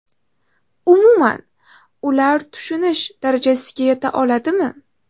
Umuman, ular tushunish darajasiga yeta oladimi?